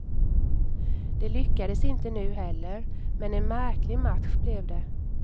Det lyckades inte nu heller, men en märklig match blev det.